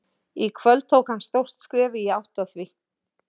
Í kvöld tók hann stórt skref í átt að því.